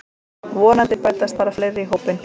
Vonandi bætast bara fleiri í hópinn